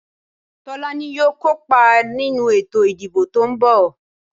Tolaní yóò kó pa ninu eto ìdíbò to n bò.